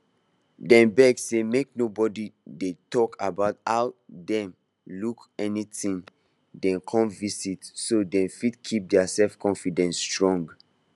dem beg say make nobody dey talk about how dem look anytime dem come visit so dem fit keep their selfconfidence strong